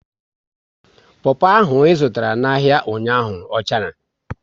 Popo ahụ ị zụtara n'ahia ụnyaahụ ọ chara?